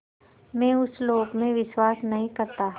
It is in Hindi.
मैं उस लोक में विश्वास नहीं करता